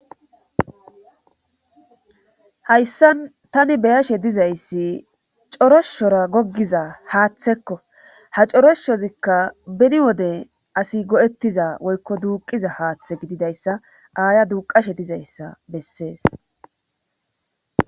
Hayssan tani beyashe dizayssi coroshshora goggiza haaththekko ha coroshozikka beni wode asi go7ettiza woykko duuqiza haaththe gididayssa aaya duuqashe dizayssa bessees.